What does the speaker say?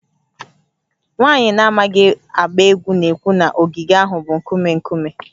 Nwaanyị na-amaghị agba egwu na-ekwu na ogige ahụ bụ nkume nkume